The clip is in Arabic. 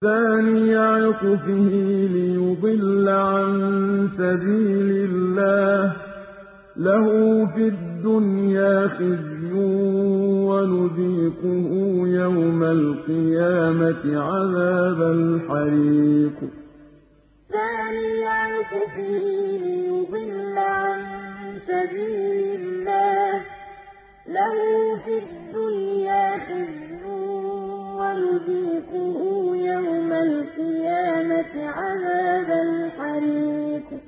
ثَانِيَ عِطْفِهِ لِيُضِلَّ عَن سَبِيلِ اللَّهِ ۖ لَهُ فِي الدُّنْيَا خِزْيٌ ۖ وَنُذِيقُهُ يَوْمَ الْقِيَامَةِ عَذَابَ الْحَرِيقِ ثَانِيَ عِطْفِهِ لِيُضِلَّ عَن سَبِيلِ اللَّهِ ۖ لَهُ فِي الدُّنْيَا خِزْيٌ ۖ وَنُذِيقُهُ يَوْمَ الْقِيَامَةِ عَذَابَ الْحَرِيقِ